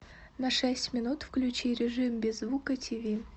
на шесть минут включи режим без звука тиви